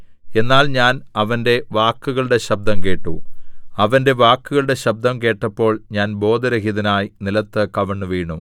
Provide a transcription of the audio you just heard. എന്നാൽ ഞാൻ അവന്റെ വാക്കുകളുടെ ശബ്ദം കേട്ടു അവന്റെ വാക്കുകളുടെ ശബ്ദം കേട്ടപ്പോൾ ഞാൻ ബോധരഹിതനായി നിലത്ത് കവിണ്ണുവീണു